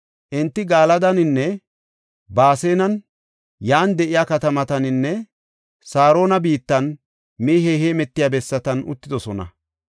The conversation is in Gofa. Enti Galadaninne Baasanen, yan de7iya katamataninne Saarona biittan mehey heemetiya bessatan uttidosona.